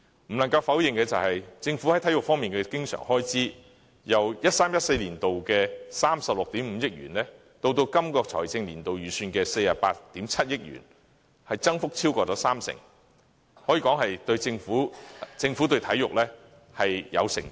不能夠否認的是，政府在體育方面的經常性開支，由 2013-2014 年度的36億 5,000 萬元增加至本財政年度預算的48億 7,000 萬元，增幅超過三成，可以說政府對體育是有承擔的。